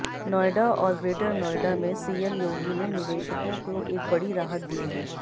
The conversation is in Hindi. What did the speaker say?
नोएडा और ग्रेटर नोएडा में सीएम योगी ने निवेशकों को एक बड़ी राहत दी है